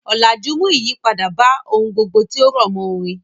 Ọ̀làjú mú ìyípadà bá ohun gbogbo tí ó rọ̀mọ́ orin.